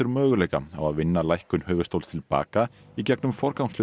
möguleika á að vinna lækkun höfuðstóls til baka í gegnum